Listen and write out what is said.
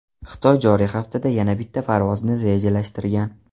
Xitoy joriy haftada yana bitta parvozni rejalashtirgan.